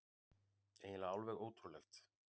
Eiginlega alveg ótrúlegt.